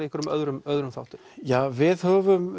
einhverjum öðrum öðrum þáttum já við höfum